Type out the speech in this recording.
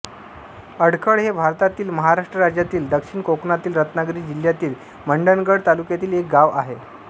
अडखळ हे भारतातील महाराष्ट्र राज्यातील दक्षिण कोकणातील रत्नागिरी जिल्ह्यातील मंडणगड तालुक्यातील एक गाव आहे